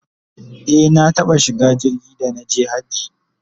e na taɓa shiga jirgi da naje hajji